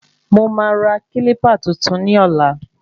Mo máa ra kílípà tuntun ni ọ̀la